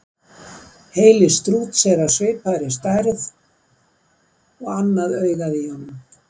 Heili strúts er af svipaði stærð og annað augað á honum.